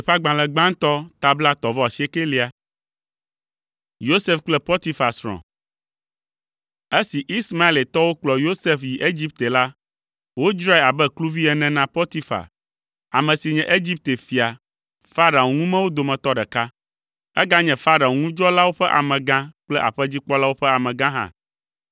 Esi Ismaeletɔwo kplɔ Yosef yi Egipte la, wodzrae abe kluvi ene na Potifar, ame si nye Egipte fia, Farao ŋumewo dometɔ ɖeka. Eganye Farao ŋu dzɔlawo ƒe amegã kple aƒedzikpɔlawo ƒe amega hã.